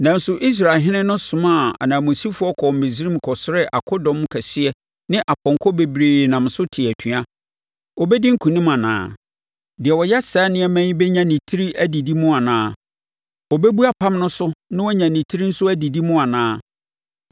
Nanso Israelhene no somaa ananmusifoɔ kɔɔ Misraim kɔsrɛɛ akodɔm kɛseɛ ne apɔnkɔ bebree nam so tee atua. Ɔbɛdi nkonim anaa? Deɛ ɔyɛ saa nneɛma yi bɛnya ne tiri adidi mu anaa? Ɔbɛbu apam no so na wanya ne tiri nso adidi mu anaa?